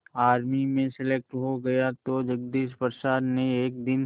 army में selected हो गया तो जगदीश प्रसाद ने एक दिन